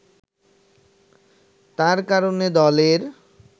তার কারণে দলের